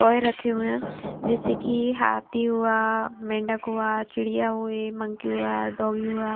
toy रखे हुए हैं जैसे कि ये हाथी हुआ मेंढक हुआ चिड़िया हुए मंकी हुआ डॉगी हुआ--